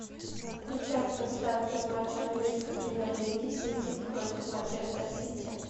включай трансляцию матча английской премьер лиги сити против манчестер сити